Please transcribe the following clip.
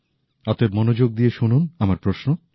অতএব মনযোগ দিয়ে শুনুন আমার প্রশ্ন